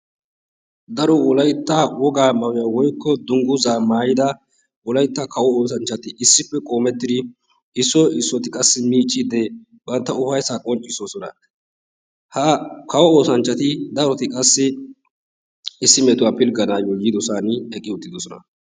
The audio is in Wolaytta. Daro wolaytta wogaa maayuwaa woykko dungguza maayidi daro oosanchchati issoy issuwara qoommetidi issiy issoti qassi miicicde bantta ufayssa qonccisossona. ha kawo oosanchchati daro qassi issi pilgganayyo yiidosan eqqiuttidoosona.